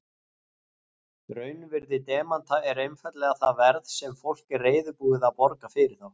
Raunvirði demanta er einfaldlega það verð sem fólk er reiðubúið að borga fyrir þá.